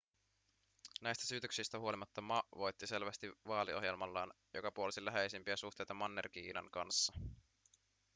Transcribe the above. näistä syytöksistä huolimatta ma voitti selvästi vaaliohjelmallaan joka puolsi läheisempiä suhteita manner-kiinan kanssa